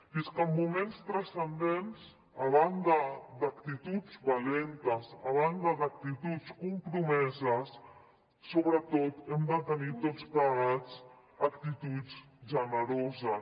i és que en moments transcendents a banda d’actituds valentes a banda d’actituds compromeses sobretot hem de tenir tots plegats actituds generoses